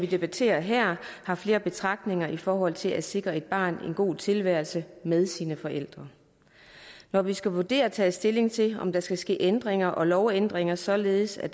vi debatterer her har flere betragtninger i forhold til at sikre et barn en god tilværelse med sine forældre når vi skal vurdere og tage stilling til om der skal ske ændringer og lovændringer således at